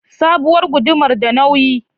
Sabuwar gudumar da nauyi?